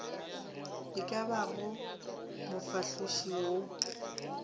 e ka bago mofahloši wa